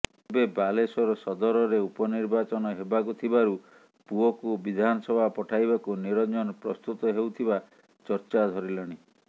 ଏବେ ବାଲେଶ୍ୱର ସଦରରେ ଉପନିର୍ବାଚନ ହେବାକୁ ଥିବାରୁ ପୁଅକୁ ବିଧାନସଭା ପଠାଇବାକୁ ନିରଞ୍ଜନ ପ୍ରସ୍ତୁତ ନେଉଥିବା ଚର୍ଚ୍ଚା ଧରିଲାଣି